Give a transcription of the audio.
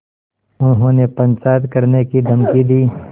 उन्होंने पंचायत करने की धमकी दी